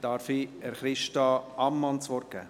Ich darf Christa Ammann das Wort geben.